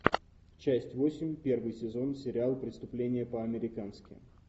часть восемь первый сезон сериал преступление по американски